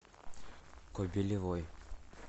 кобелевой